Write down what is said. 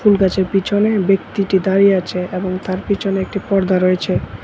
এই গাছের পিছনে ব্যক্তিটি দাঁড়িয়ে আছে এবং তার পিছনে একটি পর্দা রয়েছে।